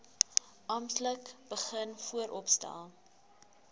amptelik begin vooropstel